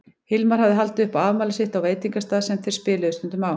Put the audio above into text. Hilmar hafði haldið upp á afmælið sitt á veitingastað sem þeir spiluðu stundum á.